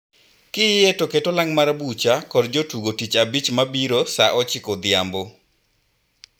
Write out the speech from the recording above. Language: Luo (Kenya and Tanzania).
Kiyie to ket olang' mar bucha kod jotugo tich abich mabiro saa ochiko odhiambo.